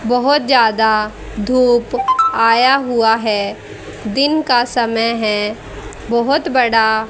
बहुत ज्यादा धूप आया हुआ है दिन का समय है बहोत बड़ा--